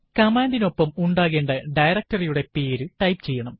command നു ഒപ്പം ഉണ്ടാക്കേണ്ട ഡയറക്ടറി യുടെപേര് ടൈപ്പ് ചെയ്യണം